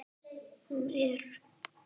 Hún er.